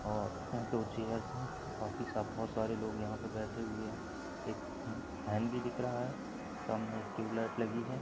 और बाँटू थी हासे बाकी सब बोहोत सारे लोग यहा पर बैठे हुए है एक फन भी दिख रहा है सामने एक ट्यूबलाइट लागि हुई है।